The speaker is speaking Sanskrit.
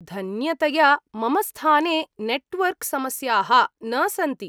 धन्यतया, मम स्थाने नेट्वर्क् समस्याः न सन्ति।